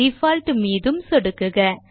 default மீதும் சொடுக்குக